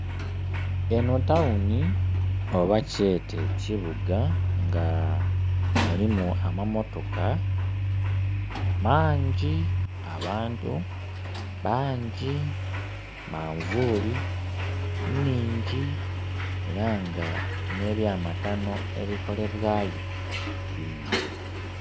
Eno tawuni oba kyete ekibuga nga mulimu amamotoka maangi, abantu baangi, manvuli nhingi era nga ne bya matano ebikolebwayo bingi.